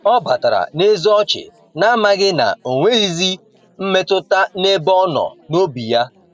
Ọ batara n'eze ọchị, na-amaghị na onweghizi mmetụta n'ebe ọnọ n’obi ya.